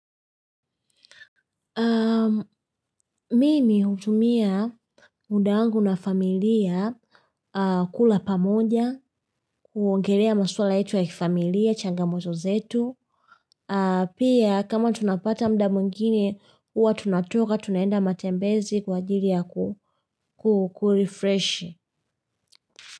Mimi hutumia muda wangu na familia kula pamoja, kuongelea maswala ito ya familia, changamoto zetu. Pia kama tunapata mda mwingine, huwa tunatoka, tunaenda matembezi kwa ajili ya kukulifresh.